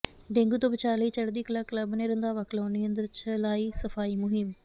dengue ਤੋਂ ਬਚਾਅ ਲਈ ਚੜ੍ਹਦੀ ਕਲਾ ਕਲੱਬ ਨੇ ਰੰਧਾਵਾ ਕਲੋਨੀ ਅੰਦਰ ਚਲਾਈ ਸਫ਼ਾਈ ਮੁਹਿੰਮ